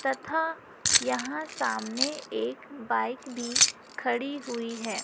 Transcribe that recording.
तथा यहां सामने एक बाइक भी खड़ी हुई है।